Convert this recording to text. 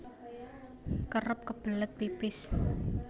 Kerep kebelet pipis